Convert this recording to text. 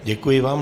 Děkuji vám.